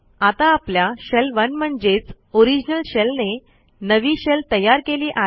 आता आपल्या शेल 1 म्हणजेच ओरिजिनल शेलने नवी शेल तयार केली आहे